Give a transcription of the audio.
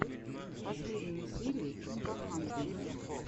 последняя серия имбахантэ